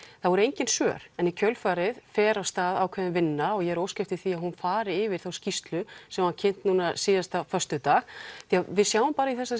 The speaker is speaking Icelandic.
það voru engin svör en í kjölfarið fer af stað ákveðin vinna og ég er að óska eftir því að hún fari yfir skýrslu sem var kynnt núna síðasta föstudag því að við sjáum í þessari